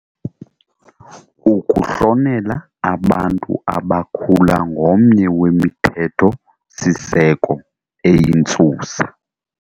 Ukuhlonela abantu abakhula ngomnye wemithetho-siseko eyintsusa.